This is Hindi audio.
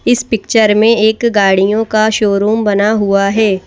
इस पिक्चर में एक गाड़ियों का शोरूम बना हुआ है।